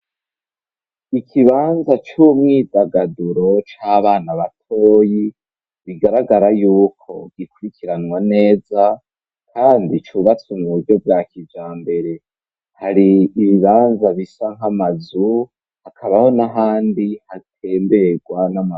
Ikibanza c'umwidagaduro c'abana batoyi bigaragara yuko gikurikiranwa neza kandi cubatsu mu buryo bwa kijambere hari ibibanza bisa nkamazu hakabaho n'ahandi hatemberwa n'amazi.